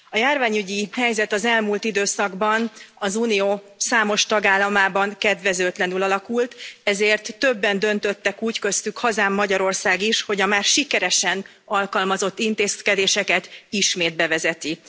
A járványügyi helyzet az elmúlt időszakban az unió számos tagállamában kedvezőtlenül alakult, ezért többen döntöttek úgy, köztük hazám, Magyarország is, hogy a már sikeresen alkalmazott intézkedéseket ismét bevezeti.